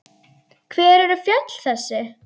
Hver eru fjöll þessi?